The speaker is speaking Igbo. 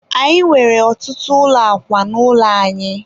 anyị nwere ọtụtụ ụlọ akwa n'ụlọ anyị.